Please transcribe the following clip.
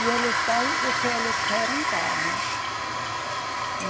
E eles dão o que eles querem dar, né?